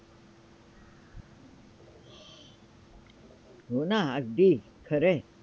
हो ना, अगदी खरं!